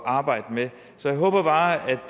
at arbejde med så jeg håber bare